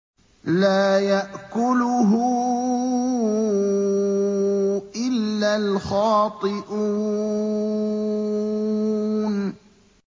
لَّا يَأْكُلُهُ إِلَّا الْخَاطِئُونَ